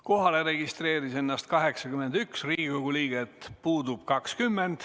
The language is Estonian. Kohalolijaks registreerus 81 Riigikogu liiget, puudub 20.